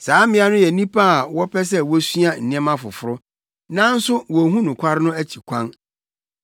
saa mmea no yɛ nnipa a wɔpɛ sɛ wosua nneɛma foforo, nanso wonhu nokware no akyi kwan.